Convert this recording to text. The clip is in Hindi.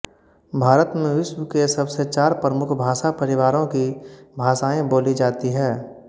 भारत में विश्व के सबसे चार प्रमुख भाषा परिवारों की भाषाएँ बोली जाती है